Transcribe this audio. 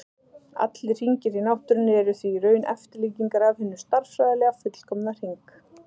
Allir hringir í náttúrunni eru því í raun eftirlíkingar af hinum stærðfræðilega fullkomna hring.